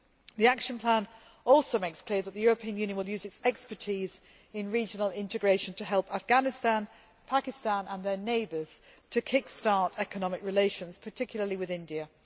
The action plan also makes clear that the European Union will use its expertise in regional integration to help Afghanistan, Pakistan and their neighbours to kick start economic relations, particularly with India.